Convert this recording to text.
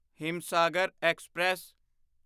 Himsagar express